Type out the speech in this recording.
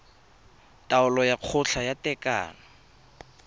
taolo ya kgotla ya tekano